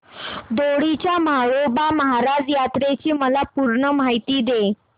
दोडी च्या म्हाळोबा महाराज यात्रेची मला पूर्ण माहिती दे